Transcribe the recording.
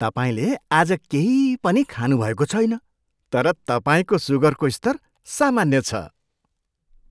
तपाईँले आज केही पनि खानु भएको छैन तर तपाईँको सुगरको स्तर सामान्य छ!